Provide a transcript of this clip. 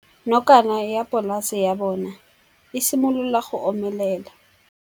Nokana ya polase ya bona, e simolola go omelela.